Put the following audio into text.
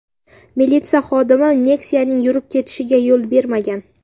Militsiya xodimi Nexia’ning yurib ketishiga yo‘l bermagan.